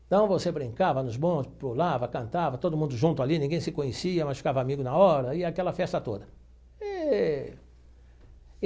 Então você brincava nos bondes, pulava, cantava, todo mundo junto ali, ninguém se conhecia, mas ficava amigo na hora, e aquela festa toda eee.